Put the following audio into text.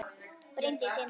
Bryndís Inda